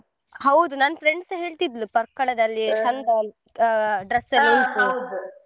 ಹೌದು ನನ್ friend ಸ ಹೇಳ್ತಿದ್ಲು Parkala ದಲ್ಲಿ dress .